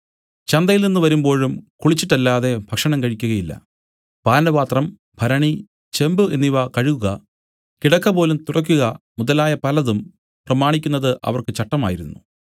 ചന്തയിൽ നിന്നു വരുമ്പോഴും കുളിച്ചിട്ടല്ലാതെ ഭക്ഷണം കഴിക്കുകയില്ല പാനപാത്രം ഭരണി ചെമ്പു എന്നിവ കഴുകുക കിടക്കപോലും തുടയ്ക്കുക മുതലായ പലതും പ്രമാണിക്കുന്നത് അവർക്ക് ചട്ടമായിരുന്നു